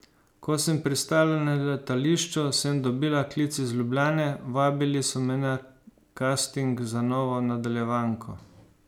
Ko sem pristala na letališču, sem dobila klic iz Ljubljane, vabili so me na kasting za novo nadaljevanko.